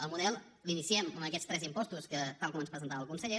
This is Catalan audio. el model l’iniciem amb aquests tres impostos tal com ens presentava el conseller